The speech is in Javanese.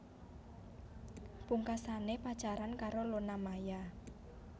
Pungkasane pacaran karo Luna Maya